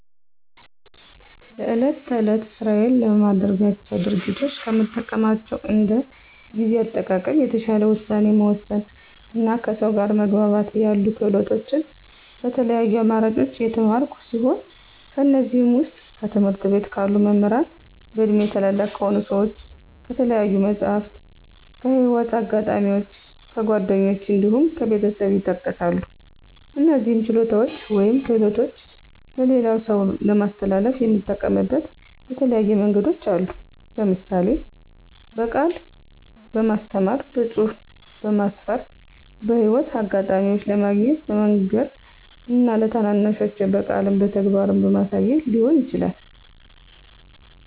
ለዕለት ተዕለት ስራዬ ለማደርጋቸው ድርጊቶች ከምጠቀማቸው እንደ ጊዜ አጠቃቀም፣ የተሻለ ውሳኔ መወሰን እና ከሰው ጋር መግባባት ያሉ ክህሎቶችን በተለያዩ አማራጮች የተማርኩ ሲሆን ከእነዚህም ዉስጥ፦ ከትምህርት ቤት ካሉ መምህራን፣ በእድሜ ታላላቅ ከሆኑ ሰዎች፣ ከተለያዩ መፅሀፍት፣ ከህይወት አጋጣሚዎች፣ ከጓደኞች እንዲሁም ከቤተሰብ ይጠቀሳሉ። እነዚህን ችሎታዎች ወይም ክህሎቶች ለሌላ ሰው ለማስተላለፍ የምጠቀምበት የተለያዩ መንገዶች አሉ። ለምሳሌ፦ በቃል በማስተማር፣ በፅሁፍ በማስፈር፣ በህይወት አጋጣሚ ለማገኘው በመንገር እና ለታናናሾቼ በቃልም በተግባርም በማሳየት ሊሆን ይችላል።